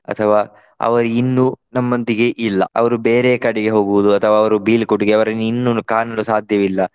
ಅಥವಾ ಅವರು ಇನ್ನು ನಮ್ಮೊಂದಿಗೆ ಇಲ್ಲ. ಅವರು ಬೇರೆಯೇ ಕಡೆಗೆ ಹೋಗುವುದು ಅಥವಾ ಅವರು ಬೀಳ್ಕೊಡುಗೆ ಅವರನ್ನು ಇನ್ನು ಕಾಣಲು ಸಾಧ್ಯವಿಲ್ಲ.